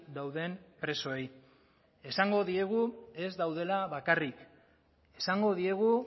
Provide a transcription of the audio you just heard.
dauden presoei esango diegu ez daudela bakarrik esango diegu